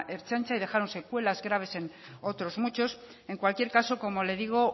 ertzaintza y dejaron secuelas graves en otros muchos en cualquier caso como le digo